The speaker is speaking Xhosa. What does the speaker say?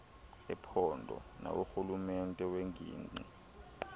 ephondo naworhulumente wengingqi